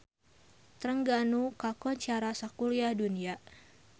Trengganu kakoncara sakuliah dunya